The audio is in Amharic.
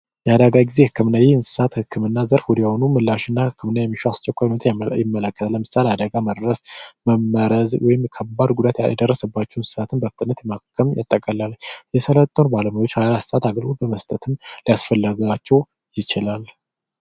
የአደጋ ጊዜ ህክምና ይህ የእንስሳት ህክምና ፈጣን የሆኑ ምላሾችና አስቸኳይ የሆኑ ምርመራዎችን ይመለከታል። ለምሳሌ አደጋ ሲደርስና መመረዝ ወይም ከባድ ጉዳት የደረሰባቸውን እንስሳትን በፍጥነት ማከምን ያጠቃልላል። የሰራተኞች ቁጥርም ሃያአራት ሰዓታት አገልግሎት በመስጠት ሊያስፈልጋቸው ይችላል።